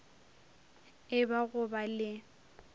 e ba go ba le